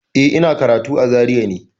Eh, ina karatu a Zaria ne.